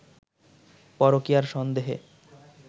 পরকীয়ার সন্দেহে